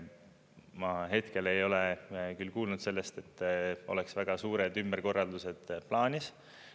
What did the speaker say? Ma hetkel ei ole küll kuulnud sellest, et oleks väga suured ümberkorraldused plaanis.